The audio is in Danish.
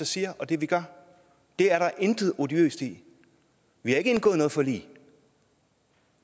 siger og det vi gør det er der intet odiøst i vi har ikke indgået noget forlig